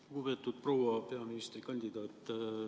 Lugupeetud proua peaministrikandidaat!